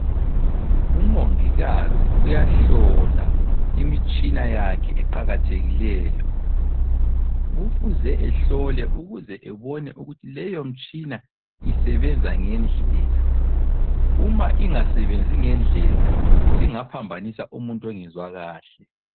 Umongikazi uyahlola imitshina yakhe eqakathekileyo. Kufuze ehlole ukuze ebone ukuthi leyomtshina isebenza ngendlela. Uma ingasebenzi ngendlela isingaphambanisa umuntu ongezwa kahle.